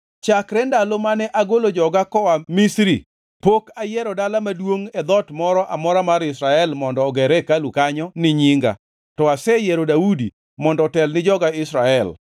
‘Chakre ndalo mane agolo joga koa Misri pok ayiero dala maduongʼ e dhoot moro amora mar Israel mondo oger hekalu kanyo ni Nyinga, to aseyiero Daudi mondo otel ni joga Israel.